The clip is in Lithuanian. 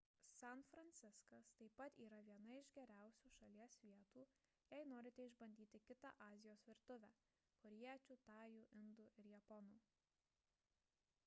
san fransiskas taip pat yra viena iš geriausių šalies vietų jei norite išbandyti kitą azijos virtuvę korėjiečių tajų indų ir japonų